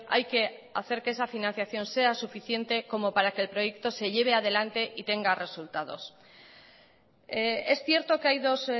hay que hacer que esa financiación sea suficiente como para que el proyecto se lleve adelante y tenga resultados es cierto que hay dos